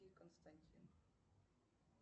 и константин